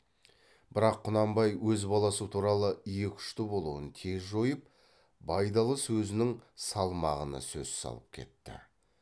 бірақ құнанбай өз баласы туралы екі ұшты болуын тез жойып байдалы сөзінің салмағына сөз салып кетті